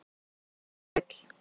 Veit hvað hún vill